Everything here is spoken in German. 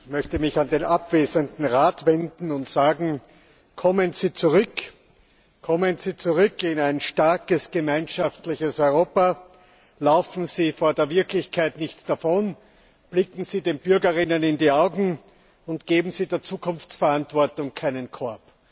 Frau Präsidentin! Ich möchte mich an den abwesenden Rat wenden Kommen Sie zurück, kommen Sie zurück in ein starkes gemeinschaftliches Europa, laufen Sie vor der Wirklichkeit nicht davon, blicken Sie den BürgerInnen in die Augen und geben Sie der Zukunftsverantwortung keinen Korb!